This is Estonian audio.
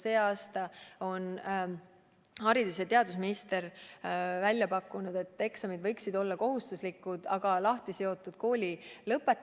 Sel aastal on haridus- ja teadusminister välja pakkunud, et eksamid võiksid olla kohustuslikud, aga poleks seotud kooli lõpetamisega.